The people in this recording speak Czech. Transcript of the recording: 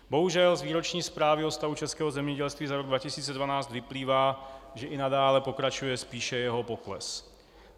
Bohužel z Výroční zprávy o stavu českého zemědělství za rok 2012 vyplývá, že i nadále pokračuje spíše jeho pokles.